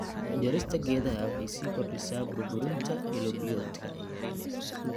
Jarista geedaha waxay sii kordhisaa burburinta ilo biyoodka.